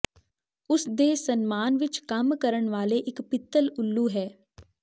ਉਸ ਦੇ ਸਨਮਾਨ ਵਿਚ ਕੰਮ ਕਰਨ ਵਾਲੇ ਇੱਕ ਪਿੱਤਲ ਉੱਲੂ ਹੈ